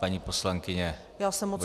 Paní poslankyně bude mít slovo.